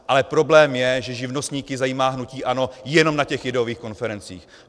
Ale problém je, že živnostníky zajímá hnutí ANO jenom na těch ideových konferencích.